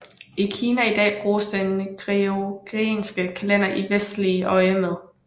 I Kina i dag bruges den gregorianske kalender i verdslig øjemed